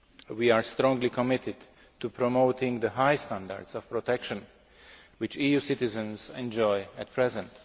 We are strongly committed to promoting the high standards of protection which EU citizens enjoy at present.